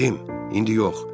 Cim, indi yox.